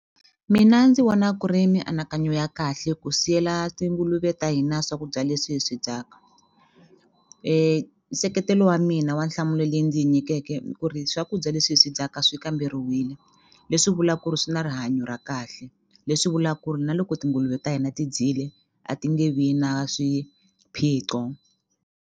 Mina ndzi vona ku ri mianakanyo ya kahle ku siyela tinguluve ta hina swakudya leswi hi swi dyaka nseketelo wa mina wa nhlamulo leyi ndzi yi nyikeke ku ri swakudya leswi hi swi dyaka swi kamberiwile leswi vula ku ri swi na rihanyo ra kahle leswi vula ku ri na loko tinguluve ta hina ti dyile a ti nge vi na swiphiqo.